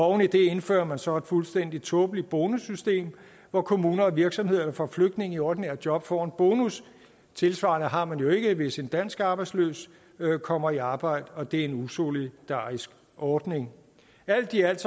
oven i det indfører man så et fuldstændig tåbeligt bonussystem hvor kommuner og virksomheder der får flygtninge i ordinære job får en bonus tilsvarende har man jo ikke hvis en dansk arbejdsløs kommer i arbejde og det er en usolidarisk ordning alt i alt